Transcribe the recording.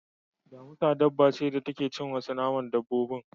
Damusa dabba ce da take cin naman wasu dabbobin.